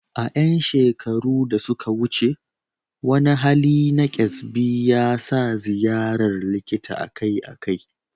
A ƴan shekaru da suka wuce, wani hali na kyasbi yasa ziyarar likita akai-akai.